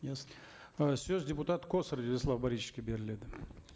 ясно ы сөз депутат косарев владислав борисовичке беріледі